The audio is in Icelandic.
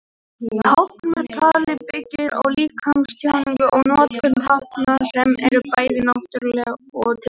Tákn með tali byggir á líkamstjáningu og notkun tákna sem eru bæði náttúruleg og tilbúin.